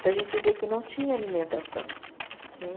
Então a gente vê que não tinha alimentação. Né